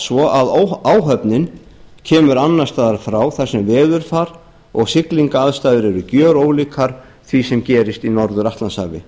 svo að áhöfnin kemur annars staðar frá þar sem veðurfar og siglingaraðstæður eru gerólíkar því sem gerist í norður atlantshafi